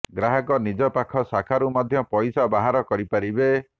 ଗ୍ରାହକ ନିଜ ପାଖ ଶାଖାରୁ ମଧ୍ୟ ପଇସା ବାହାର କରିପାରିବେ